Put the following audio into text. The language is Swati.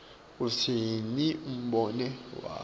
utsini umbono wakho